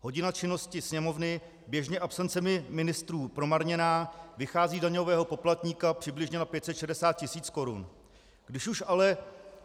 Hodina činnosti Sněmovny, běžně absencemi ministrů promarněná, vychází daňového poplatníka přibližně na 560 tisíc korun.